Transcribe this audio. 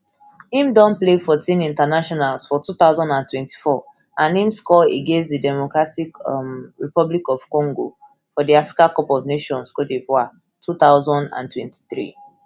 im don play fourteen internationals for two thousand and twenty-four and im score against di democratic um republic of congo for di africa cup of nations cote divoire two thousand and twenty-three